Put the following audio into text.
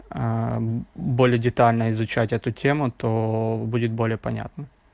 более детально изучать эту тему то будет более понятно